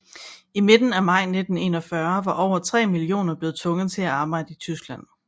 I midten af maj 1941 var over tre millioner blevet tvunget til at arbejde i Tyskland